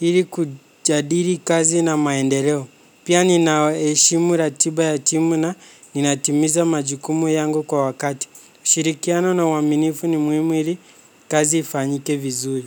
Hili kujadili kazi na maendeleo. Pia ninaeshimu ratiba ya timu na nina timiza majukumu yangu kwa wakati. Shirikiano na uaminifu ni muhimu hili kazi ifanyike vizuri.